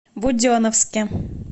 буденновске